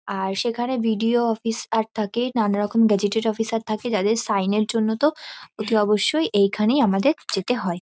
আর সেখানে BDO. Office -আর থাকে নানারকম গ্যাজেটেড অফিস আর থাকে। যাদের সাইন -এর জন্য তো অতি অবশ্যই এইখানেই আমাদের যেতে হয়।